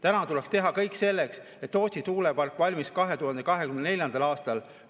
Täna tuleks teha kõik selleks, et Tootsi tuulepark valmiks 2024. aastal.